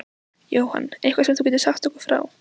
Jóhann: Eitthvað sem þú getur sagt okkur frá?